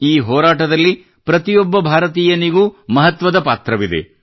ಈ ಹೋರಾಟದಲ್ಲಿ ಪ್ರತಿಯೊಬ್ಬ ಭಾರತೀಯನಿಗೂ ಮಹತ್ವದ ಪಾತ್ರವಿದೆ